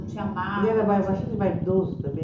Não tinha nada. Ele era bastante vaidoso também.